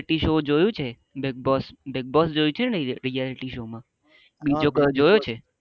બીજું શો જોયું છે બીગ બોસ બીગ બોસ જોયી છે ને reality show માં બીજો કોઈ જોયો છે